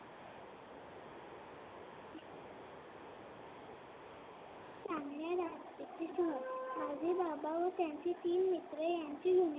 माझे बाबा व त्याचे तीन मित्र यांची